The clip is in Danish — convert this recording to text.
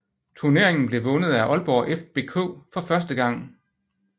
Turneringen blev vundet af Aalborg FBK for første gang